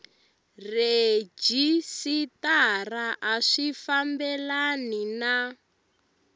rhejisitara a swi fambelani na